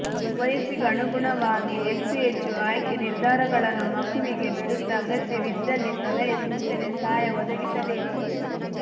ವಯಸ್ಸಿಗನುಗುಣವಾಗಿ ಹೆಚ್ಚು ಹೆಚ್ಚು ಆಯ್ಕೆ ನಿರ್ಧಾರಗಳನ್ನು ಮಗುವಿಗೆ ಬಿಡುತ್ತಾ ಅಗತ್ಯವಿದ್ದಲ್ಲಿ ಸಲಹೆ ಸೂಚನೆ ಸಹಾಯ ಒದಗಿಸಬೇಕು